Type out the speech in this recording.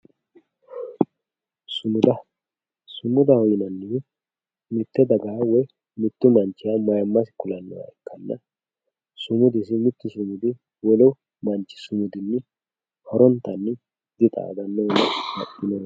sumuda sumudaho yineemmohu mitte dagaha woy mittu manchiha aymasi kulannoha ikkanna sumudu wolu manchi sumudinni horontanni dixaadannoho baxxinoho